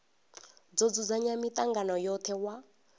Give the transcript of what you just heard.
do dzudzanya mitangano yothe wa